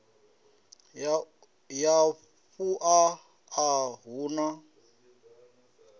ya vhuṋa a hu na